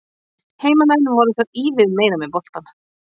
Heimamenn voru þó ívið meira með boltann.